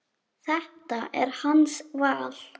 Og förum úr.